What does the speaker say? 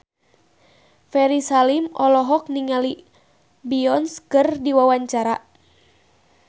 Ferry Salim olohok ningali Beyonce keur diwawancara